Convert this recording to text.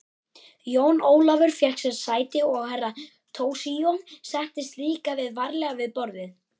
Jón Ólafur fékk sér sæti og Herra Toshizo settist líka varlega við borðið.